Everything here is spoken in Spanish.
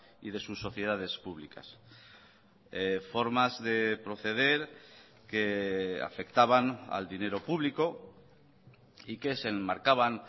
y de sus sociedades públicas formas de proceder que afectaban al dinero público y que se enmarcaban